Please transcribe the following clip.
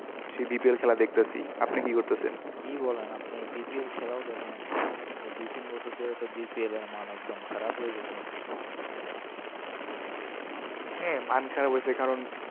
সেই bpl খেলা দেখতেসি। আপনি কি করতাসেন? কি বলেন আপনি? bpl খেলাও দেখেন? এই দুই তিন বছর ধরে তো bpl এর মান একদম খারাপ হয়ে গেছে মনে হয়। হ্যাঁ মান খারাপ হয়েছে কারণ,